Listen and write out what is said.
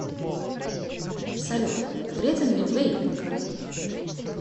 салют вреден ли вейпинг